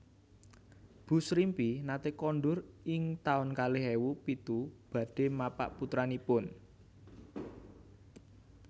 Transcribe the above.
Bu Srimpi nate kondur ing taun kalih ewu pitu badhe mapak putranipun